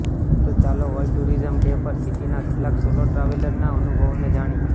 તો ચાલો world tourism day પર સિટીનાં કેટલાંક સોલો ટ્રાવેલરનાં અનુભવોને જાણીએ